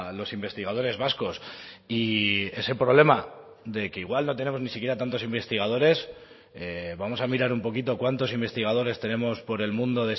los investigadores vascos y ese problema de que igual no tenemos ni siquiera tantos investigadores vamos a mirar un poquito cuántos investigadores tenemos por el mundo